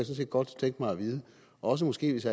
set godt tænke mig at vide og også måske hvis